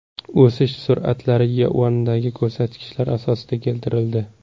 O‘sish sur’atlari yuandagi ko‘rsatkichlar asosida keltirildi.